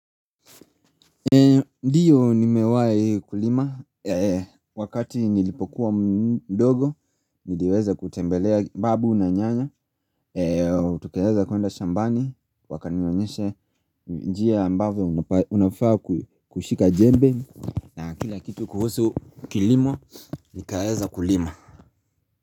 Ndiyo nimewai kulima wakati nilipokuwa mdogo niliweza kutembelea babu na nyanya Tukaweza kuenda shambani wakanionyesha njia ambavyo unafaa kushika jembe na kila kitu kuhusu kilimo nikaweza kulima.